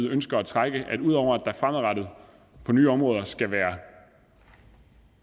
ønsker at trække at udover at der fremadrettet på nye områder skal være